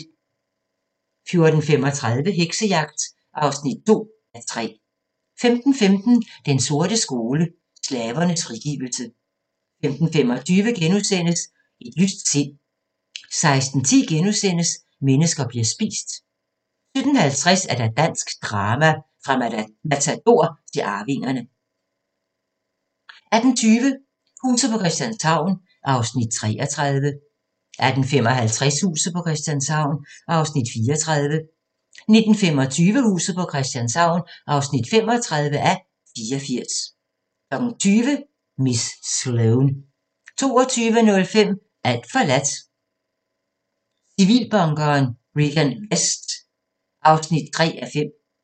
14:35: Heksejagt (2:3) 15:15: Den sorte skole: Slavernes frigivelse 15:25: Et lyst sind * 16:10: Mennesker bliver spist * 17:50: Dansk drama – fra Matador til Arvingerne 18:20: Huset på Christianshavn (33:84) 18:55: Huset på Christianshavn (34:84) 19:25: Huset på Christianshavn (35:84) 20:00: Miss Sloane 22:05: Alt forladt – Civilbunkeren Regan Vest (3:5)